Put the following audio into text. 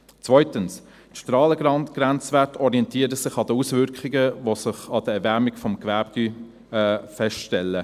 Zweitens: Die Strahlengrenzwerte orientieren sich an Auswirkungen, die sich an der Erwärmung von Gewebe feststellen.